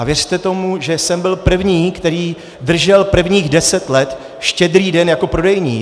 A věřte tomu, že jsem byl první, který držel prvních deset let Štědrý den jako prodejní.